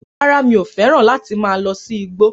Rárá, mi ò fẹ́ràn láti máa lọ sí igbó